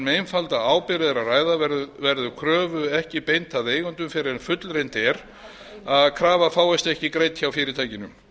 einfalda ábyrgð er að ræða verður kröfu ekki beint að eigendum fyrr en fullreynt er að krafa fáist ekki greidd hjá fyrirtækinu